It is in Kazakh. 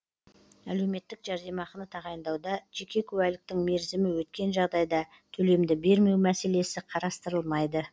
әлеуметтік жәрдемақыны тағайындауда жеке куәліктің мерзімі өткен жағдайда төлемді бермеу мәселесі қарастырылмайды